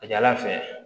A ka ca ala fɛ